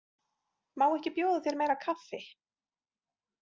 Má ekki bjóða þér meira kaffi?